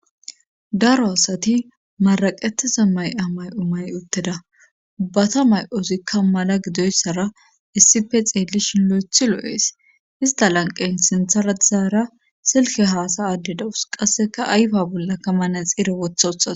daro asati maraqetteza may'a may'o mayi utteda ubbata mayozikka issi mala gidoyssara issife xeellishin lo'ethi lo'ees ista lanqen sinthara dizaara silke haasaadde dawus qasseka ayfa bollaka manaxiire wotha utadus